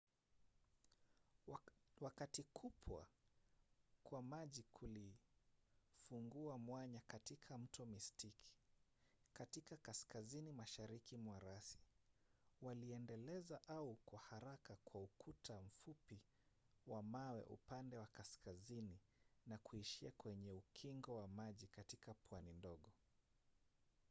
wakati kupwa kwa maji kulifungua mwanya katika mto mystic katika kaskazini mashariki mwa rasi waliendeleza ua kwa haraka kwa ukuta mfupi wa mawe upande wa kaskazini na kuishia kwenye ukingo wa maji katika pwani ndogo